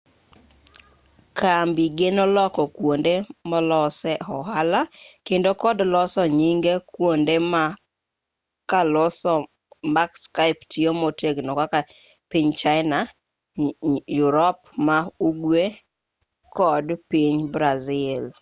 kambi geno loko kuonde molosee ohala kendo kod loso nyinge kuonde ma karloso ma skype tiyo motegno kaka piny china yurop ma-ugwe kod piny brazil